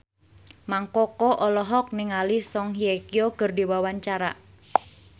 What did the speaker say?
Mang Koko olohok ningali Song Hye Kyo keur diwawancara